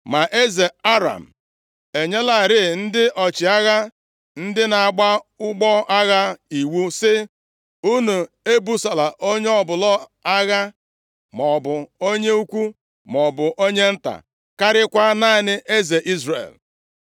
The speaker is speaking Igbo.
Ma eze Aram enyelarị ndị ọchịagha, ndị na-agba ụgbọ agha iwu sị, “Unu ebusola onye ọbụla agha, maọbụ onye ukwu maọbụ onye nta, karịakwa naanị eze Izrel.”